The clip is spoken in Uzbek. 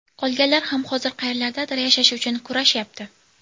Qolganlar ham hozir qayerlardadir yashash uchun kurashyapti.